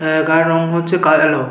আহ গায়ের রং হচ্ছে কাহেল।